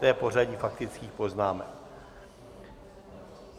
To je pořadí faktických poznámek.